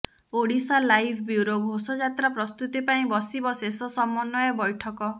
Odisha live bureau ଘୋଷଯାତ୍ରା ପ୍ରସ୍ତୁତି ପାଇଁ ବସିବ ଶେଷ ସମନ୍ୱୟ ବ୘ଠକ